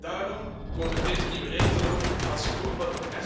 Daarom komen deze nieuwe regels dan ook als geroepen.